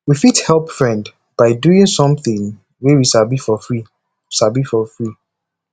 we fit help friend by doing something wey we sabi for free sabi for free